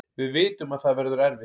Við vitum að það verður erfitt